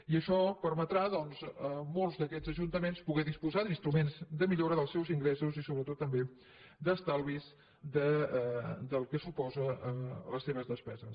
i això permetrà doncs a molts d’aquests ajuntaments poder disposar d’instruments de millora dels seus ingressos i sobretot també d’estalvis del que suposen les seves despeses